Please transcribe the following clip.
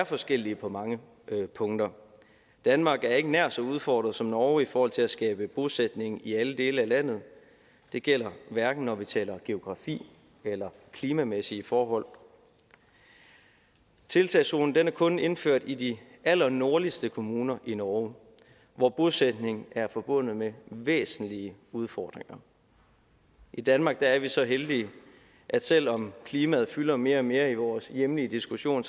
forskellige på mange punkter danmark er ikke nær så udfordret som norge i forhold til at skabe bosætning i alle dele af landet det gælder hverken når vi taler geografi eller klimamæssige forhold tiltagszonen er kun indført i de allernordligste kommuner i norge hvor bosætning er forbundet med væsentlige udfordringer i danmark er vi så heldige at selv om klimaet fylder mere og mere i vores hjemlige diskussion